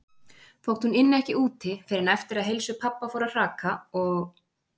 Þótt hún ynni ekki úti fyrr en eftir að heilsu pabba fór að hraka og-